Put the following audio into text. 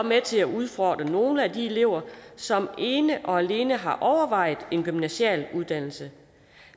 med til at udfordre nogle af de elever som ene og alene har overvejet en gymnasial uddannelse